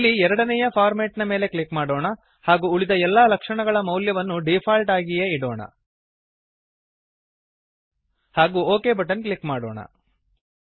ಇಲ್ಲಿ ಎರಡನೇಯ ಫಾರ್ಮ್ಯಾಟ್ ನ ಮೇಲೆ ಕ್ಲಿಕ್ ಮಾಡೋಣ ಹಾಗೂ ಉಳಿದ ಎಲ್ಲಾ ಲಕ್ಷಣಗಳ ಮೌಲ್ಯವನ್ನು ಡೀಫಾಲ್ಟ್ ಆಗಿಯೇ ಇಡೋಣ ಹಾಗೂ ಒಕ್ ಬಟನ್ ಕ್ಲಿಕ್ ಮಾಡೊಣ